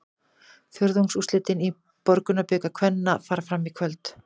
Fjórðungsúrslitin í Borgunarbikar kvenna fara fram í kvöld.